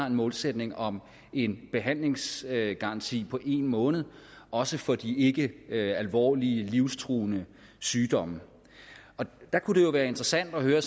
en målsætning om en behandlingsgaranti på en måned også for de ikkealvorlige ikkelivstruende sygdomme det kunne være interessant at høre